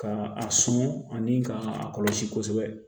Ka a sɔn ani ka a kɔlɔsi kosɛbɛ